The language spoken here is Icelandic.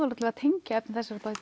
tengja efni